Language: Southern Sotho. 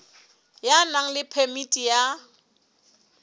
ya nang le phemiti ya